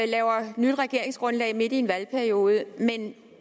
laver nyt regeringsgrundlag midt i en valgperiode men